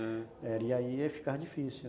E aí ia ficar difícil.